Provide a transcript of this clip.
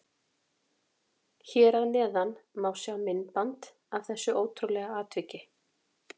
Hér að neðan má sjá myndband af þessu ótrúlega atviki.